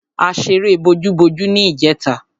A ṣeré bojúbojú ní ìjẹta.